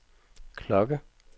klokke